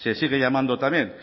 se sigue llamando también